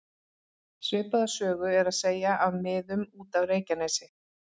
Svipaða sögu er að segja af miðum út af Reykjanesi.